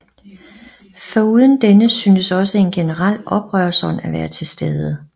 Foruden denne syntes også en generel oprørsånd at være tilstede